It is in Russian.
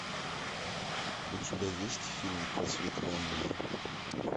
у тебя есть фильм просветленная